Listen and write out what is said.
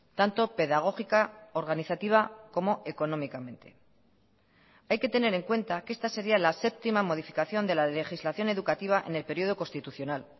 tanto pedagógica organizativa como económicamente hay que tener en cuenta que esta sería la séptima modificación de la legislación educativa en el periodo constitucional